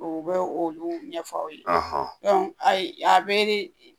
O bɛ o o ɲɛf'aw ye ayi a bɛ de